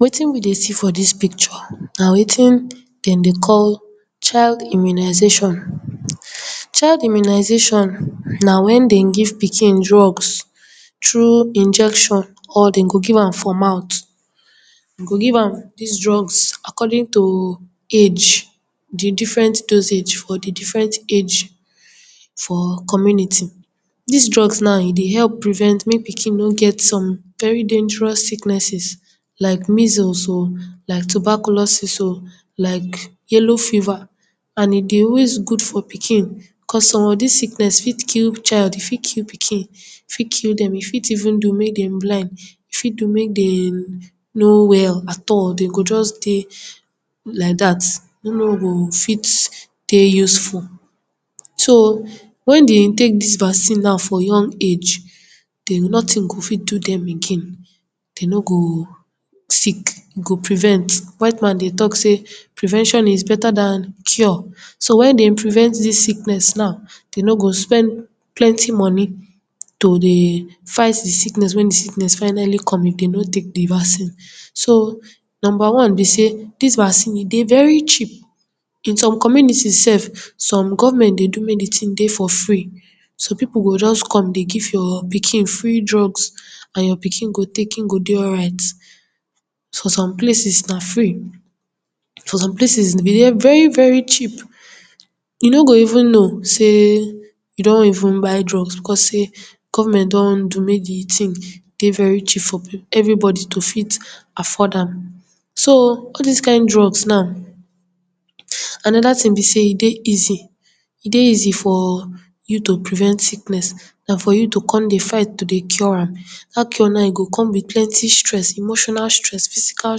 Wetin we dey see for dis picture na wetin den dey call child immunization. Child immunization na when den dey give pikin drugs trough injection or den go dey give am for mout. Den go give am dis drugs according to age, di different dosage for di different age for community. Dis drugs now, e dey help prevent mek pikin no get some very dangerous sicknesses like measles o, like tuberculosis o, like yellow fever and e dey always good for pikin, cos some of dis sickness fit kill child, e fit kill pikin, e fit kill dem, e fit even do mey dem blind, e fit do mek dem no well at all, den go just dey like dat, e no go fit dey useful. So, when den dey take dis vaccine now for young age, den, notin go fit do dem again. Den no go sick, e go prevent, white man dey talk sey prevention is beta dan cure, so, when den prevent dis sickness now, den no go spend plenty money to dey fight di sickness, wen di sickness finally come, if den no take di vaccine. So, number one be sey dis vaccine e dey very cheap. In some community sef, some government dey do mek di tin dey for free, so pipu go just come, dey give your pikin free drugs and your pikin go take, im go dey alright. For some places, na free, for some places e dey very very cheap, you no go even know sey you don even buy drugs, because sey, government don do mey di tin dey very cheap for pipu, everybody to fit afford am. So, all dis kind drugs now, anoda tin be sey e dey easy, e dey easy for you to prevent sickness dan for you to kon dey fight to dey cure am, dat one na, e go kon be plenty stress, emotional stress, physical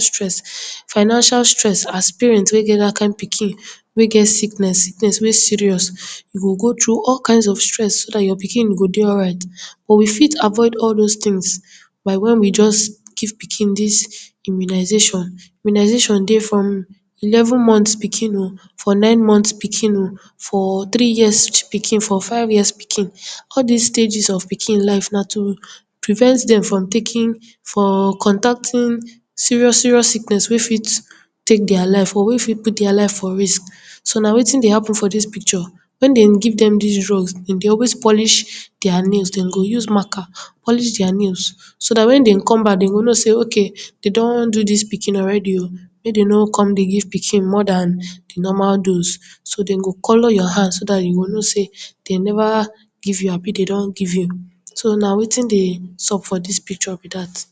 stress, financial stress, as parent wey get dat kind pikin, wey get sickness, sickness wey serious, you go go trough all kinds of stress so dat your pikin go dey alright. But we fit avoid all dose tins by wen we just give pikin dis immunisation. Immunisation dey from eleven monts pikin o, for nine monts pikin o, for tiri years pikin, for five years pikin, all dis stages of pikin life, na to prevent dem from taking, for contacting serious serious sickness wey fit take dia life or wey fit put dia life for risk. So, na wetin dey happen for dis picture, when den give dem dis drugs, den dey always polish dia nails, den go use marker polish dia nails, so dat when den come back den go know sey ok, den don do dis pikin already o mey den no kon dey give pikin more dan di normal dose. So, den go color your hand, so dat you go know sey den neva give you, abi den don give you. So, na wetin dey sup for dis picture be dat.